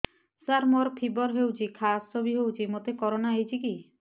ସାର ମୋର ଫିବର ହଉଚି ଖାସ ବି ହଉଚି ମୋତେ କରୋନା ହେଇଚି କି